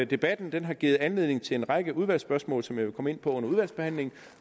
debatten den har givet anledning til en række udvalgsspørgsmål som jeg vil komme ind på under udvalgsbehandlingen